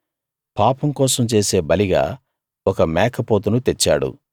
పాపం కోసం చేసే బలిగా ఒక మేకపోతును తెచ్చాడు